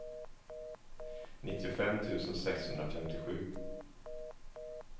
nittiofem tusen sexhundrafemtiosju